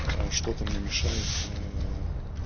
что-то мне мешает